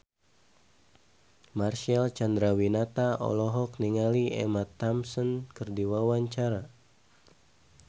Marcel Chandrawinata olohok ningali Emma Thompson keur diwawancara